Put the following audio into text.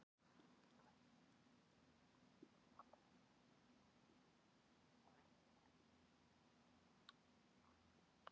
Hér dugir ekki að bera því við að erfitt sé að meta víðernin til fjár.